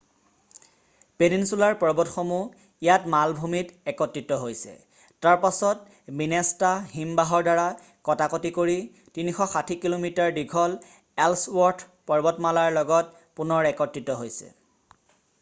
peninsular পৰ্বতসমূহ ইয়াত মালভূমিত একত্ৰিত হৈছে তাৰপাছত মিনেছ'টা হীমবাহৰ দ্বাৰা কটাকটি কৰি ৩৬০ কি:মি: দীঘল এলছৱৰ্থ পৰ্বতমালাৰ লগত পুনৰ একত্ৰিত হৈছে৷